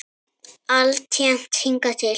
Alltént hingað til.